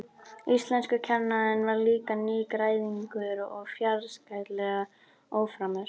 Íslenskukennarinn var líka nýgræðingur og fjarskalega óframur.